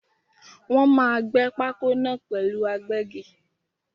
Wọ́n máa gbé pákó náà pẹ̀lú agbẹ́gi.